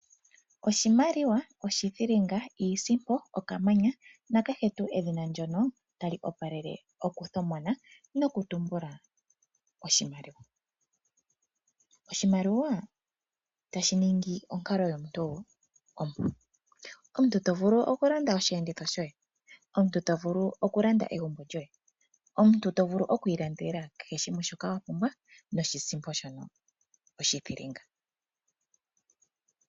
Oshimaliwa, oshithilinga, iisimpo, okamanya nakehe tuu edhina ndyono tali opalele okuthomona nokutumbula oshimaliwa. Oshimaliwa tashi ningi onkalo yomuntu ompu. Oshimaliwa omuntu to vulu okulanda osheenditho shoye. Omuntu to vulu okulanda egumbo lyoye. Omuntu to vulu oku ilandela kehe shimwe shoka wa pumbwa noshisimpo shono oshithilinga.